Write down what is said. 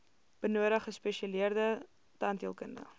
benodig gespesialiseerde tandheelkunde